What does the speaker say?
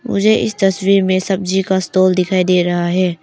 मुझे इस तस्वीर में सब्जी का स्टॉल दिखाई दे रहा है।